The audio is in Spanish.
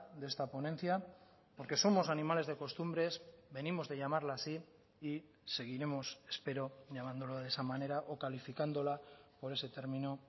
de esta ponencia porque somos animales de costumbres venimos de llamarle así y seguiremos espero llamándolo de esa manera o calificándola por ese término